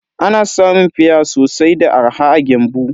Ana samun fia sosai da arha a Gembu.